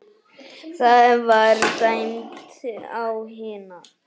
Það var dæmt á hina!